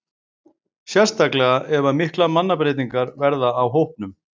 Sérstaklega ef að miklar mannabreytingar verða á hópnum.